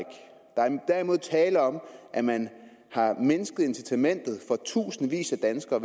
derimod tale om at man har mindsket incitamentet for tusindvis af danskere